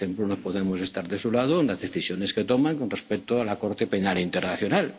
podemos estar de su lado. Por ejemplo, no podemos estar de su lado en las decisiones que toman con respecto a la Corte